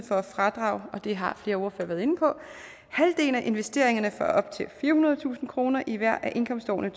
for at fradrage og det har flere ordførere været inde på halvdelen af investeringerne for op til firehundredetusind kroner i hvert af indkomstårene